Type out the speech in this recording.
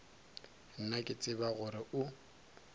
nna ke tseba gore o